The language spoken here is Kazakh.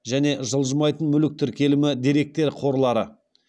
және жылжымайтын мүлік тіркелімі деректер қорлары